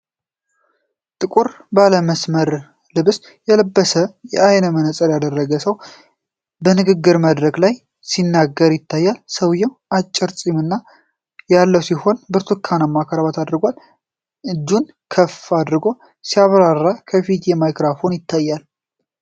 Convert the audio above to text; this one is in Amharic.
ጥቁር ባለ መስመር ልብስ የለበሰና የዓይን መነጽር ያደረገ ሰው በንግግር መድረክ ላይ ሲናገር ይታያል። ሰውዬው አጭር ጸጉርና ፂም ያለው ሲሆን፣ ብርቱካንማ ክራባት አድርጓል። እጁን ከፍ አድርጎ ሲያብራራ፣ ከፊቱ ማይክሮፎን ይታያል።